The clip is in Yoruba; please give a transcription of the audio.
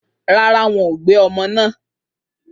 Rárá, wọn ò gbé ọmọ náà